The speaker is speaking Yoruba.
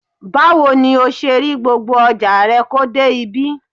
Báwo ni o ṣe rí gbogbo ọjà rẹ kó dé ibí?